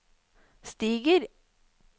stiger